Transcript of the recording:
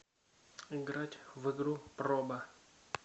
играть в игру проба